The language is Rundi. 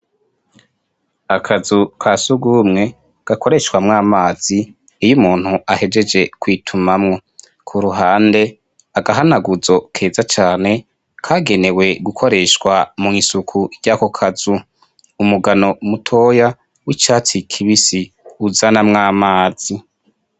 Akazu ka siugumwe gakoreshwamwo amazi iyo umuntu ahejeje kwitumamwo ku ruhande agahanaguzo keza cane kagenewe gukoreshwa mu'isuku ry'ako kazu umugano mutoya w'icatsi i kibisi uzanamwo amazi.